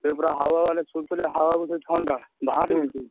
ସେ ପୁରା हवा ମାନେ ସୁଲୁସୁଲିଆ हवा ମାନେ ଥଣ୍ଡା |